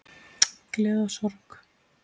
Gleði og sorg.